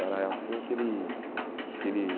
Era assim que ele que ele